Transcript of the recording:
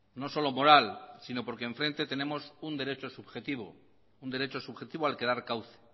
no solo moral sino porque enfrente tenemos un derecho subjetivo al que dar cauce